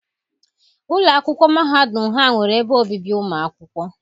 Ụlọ akwụkwọ mahadum ha nwere ebe obibi ụmụ akwụkwọ.